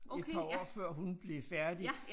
Et par år før hun blev færdig